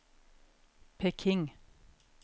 Peking